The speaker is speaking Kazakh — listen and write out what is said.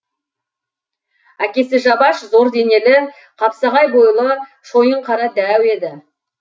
әкесі жабаш зор денелі қапсағай бойлы шойынқара дәу еді